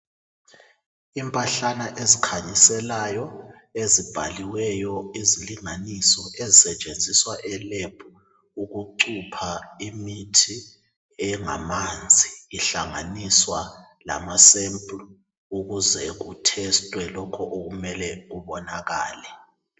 Impahlana ezikhanyiselayo ezibhaliweyo izilinganiso ezisetshenziswa e lab ukucupha imithi engamanzi ihlanganiswa lama sample ukuze kutestwe lokho okumele kubonakale